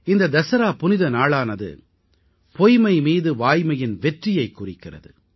இந்த தஸரா புனிதநாளானது பொய்மை மீது வாய்மையின் வெற்றியைக் குறிக்கிறது